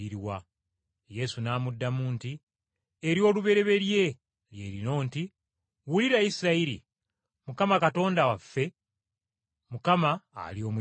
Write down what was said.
Yesu n’amuddamu nti, “Ery’olubereberye lye lino nti, ‘Wulira, Isirayiri! Mukama Katonda waffe, Mukama ali omu yekka.